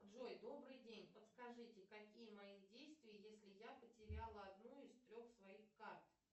джой добрый день подскажите какие мои действия если я потеряла одну из трех своих карт